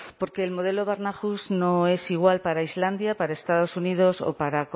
porque el modelo barnahus no es igual para islandia para estados unidos o